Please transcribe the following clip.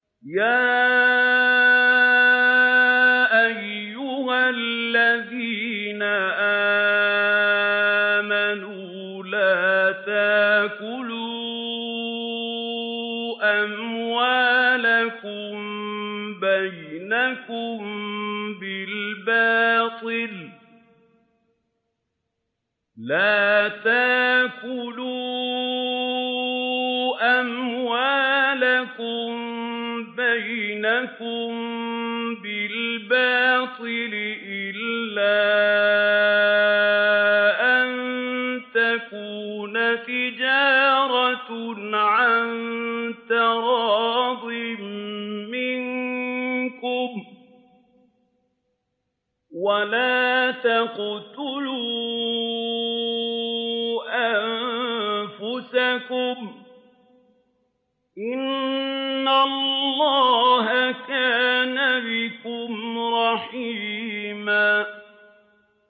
يَا أَيُّهَا الَّذِينَ آمَنُوا لَا تَأْكُلُوا أَمْوَالَكُم بَيْنَكُم بِالْبَاطِلِ إِلَّا أَن تَكُونَ تِجَارَةً عَن تَرَاضٍ مِّنكُمْ ۚ وَلَا تَقْتُلُوا أَنفُسَكُمْ ۚ إِنَّ اللَّهَ كَانَ بِكُمْ رَحِيمًا